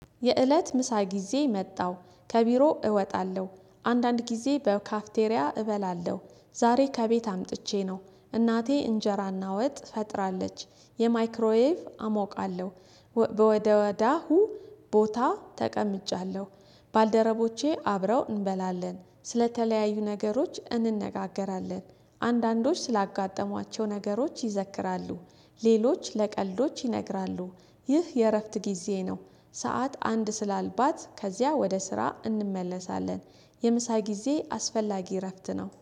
የእለት ምሳ ጊዜ መጣሁ ከቢሮ እወጣለሁ አንዳንድ ጊዜ በካፍቴሪያ እበላለሁ ዛሬ ከቤት አምጥቼ ነው እናቴ እንጀራና ወጥ ፈጥራለች የማይክሮዌቭ አሞቃለሁ። ወደ ወዳሁ ቦታ ተቀምጫለሁ። ባልደረቦቼ አብረው እንበላለን ስለተለያዩ ነገሮች እንነጋገራለን አንዳንዶች ስላጋጠሟቸው ነገሮች ይዘክራሉ ሌሎች ለቀልዶች ይነግራሉ ይህ የእረፍት ጊዜ ነው። ሰዓት አንድ ስላልባት ከዚያ ወደ ስራ እንመለሳለን። የምሳ ጊዜ አስፈላጊ እረፍት ነው